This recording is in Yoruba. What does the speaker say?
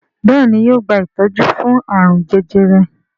Béèni yóò gba itọju fún arun jẹjẹrẹ.